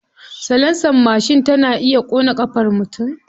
Salansar mashin tana iya ƙona ƙafar mutum.